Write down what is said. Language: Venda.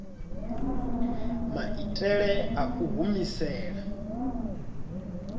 maitele a u i humisela